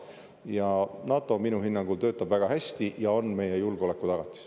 Ja NATO minu hinnangul töötab väga hästi ja on meie julgeoleku tagatis.